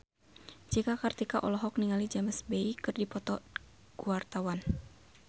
Cika Kartika olohok ningali James Bay keur diwawancara